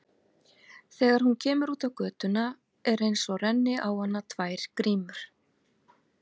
Þegar hún kemur út á götuna er einsog renni á hana tvær grímur.